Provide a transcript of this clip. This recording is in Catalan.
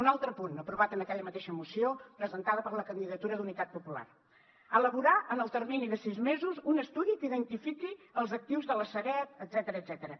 un altre punt aprovat en aquella mateixa moció presentada per la candidatura d’unitat popular elaborar en el termini de sis mesos un estudi que identifiqui els actius de la sareb etcètera